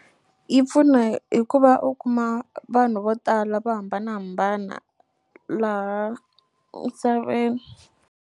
Yi pfuna hi ku va u kuma vanhu vo tala vo hambanahambana laha misaveni.